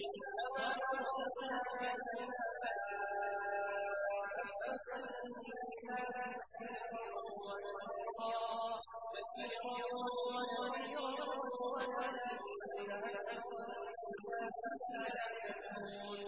وَمَا أَرْسَلْنَاكَ إِلَّا كَافَّةً لِّلنَّاسِ بَشِيرًا وَنَذِيرًا وَلَٰكِنَّ أَكْثَرَ النَّاسِ لَا يَعْلَمُونَ